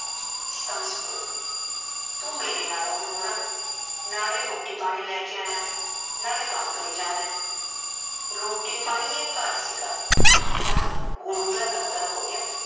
ਸੰਸਪੁਰਾ ਤੂ ਮੇਰੇ ਨਾਲੋ ਵੀ ਬੁਢਾ ਨਾਲੇ ਰੋਟੀ ਪਾਣੀ ਲੈ ਕੇ ਆਇਆ ਨਾਲੇ ਕਮ ਕਰੀ ਜਾਂਦਾ ਰੋਟੀ ਪਾਣੀ ਇਹ ਘਰ ਸੀਗਾ ਹੁਣ ਗੁਰੂ ਦਾ ਲਗਰ ਹੋ ਗਿਆ